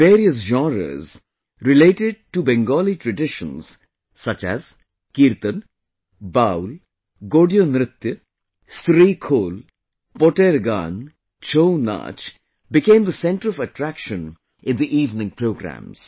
Various genres related to Bengali traditions such as Kirtan, Baul, Godiyo Nritto, SreeKhol, Poter Gaan, ChouNach, became the center of attraction in the evening programmes